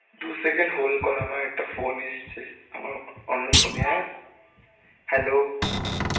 দু second hold কর আমার একটা phone এসছে আমার অন্য phone এ হ্যাঁ. hello.